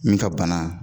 Min ka bana